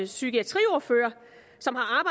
psykiatriordfører som har